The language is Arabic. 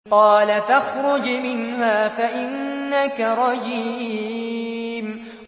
قَالَ فَاخْرُجْ مِنْهَا فَإِنَّكَ رَجِيمٌ